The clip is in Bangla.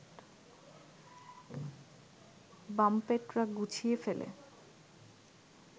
বাঙ্পেটরা গুছিয়ে ফেলে